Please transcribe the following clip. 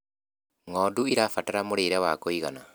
ng'ondu irabatara mũrĩre wa kũigana